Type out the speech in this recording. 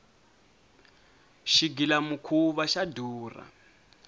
xigila mukhuva xa durha